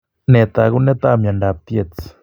Nee taakunetaab myondap Tietz